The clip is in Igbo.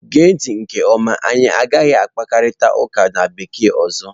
Gee ntị nke ọma! anyị agaghị na-akparịta ụka na bekee ọzọ.